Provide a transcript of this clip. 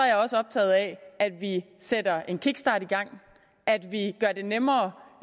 jeg også optaget af at vi sætter en kickstart i gang at vi gør det nemmere